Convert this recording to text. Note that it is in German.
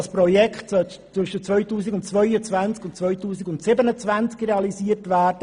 Das Projekt sollte zwischen 2022 und 2027 realisiert werden.